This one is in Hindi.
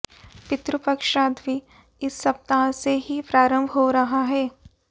पितृ पक्ष श्राद्ध भी इस सप्ताह से ही प्रारंभ हो रहा है